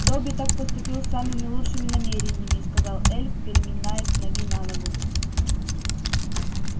добби так поступил с самыми лучшими намерениями сказал эльф переминаясь с ноги на ногу